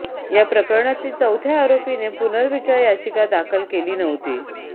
या प्रकरणातील चौथ्या आरोपीने पुनर्विचार याचिका दाखल केली नव्हती